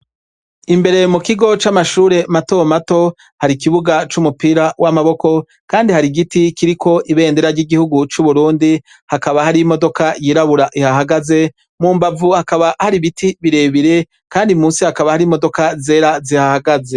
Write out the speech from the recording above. Imbere mukigo c'amashure mato mato, har'ikibuga c'umupira w'amaboko, kandi har'igiti kiriko ibendera ry'igihugu c'Uburundi, hakaba hari imodoka yirabura ihahagaze, mumbavu hakaba hari ibiti birebire ,kandi musi hakaba hari imodoka zera zihahagaze.